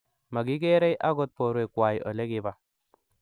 magigeerei agot borwekwai olegibaa